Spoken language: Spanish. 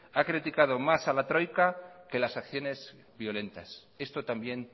ha criticado más a la troika que las acciones violentas esto también